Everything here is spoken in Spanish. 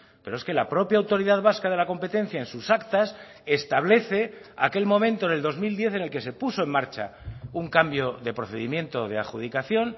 pero es que la propia autoridad vasca de la competencia en sus actas establece aquel momento en el dos mil diez en el que se puso en marcha un cambio de procedimiento de adjudicación